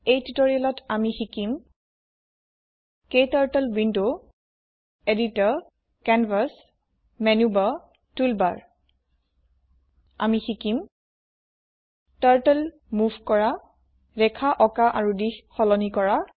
এই টিউটৰিয়েলত আমি শিকিম turtle window editor canvas menu bar toolbar আমি শিকিম টাৰ্টল মোভ কৰা ৰেখা অকা আৰু দিশ সলনি কৰক